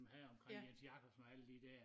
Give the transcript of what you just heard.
Her omkring Jens Jakobsen og alle de dér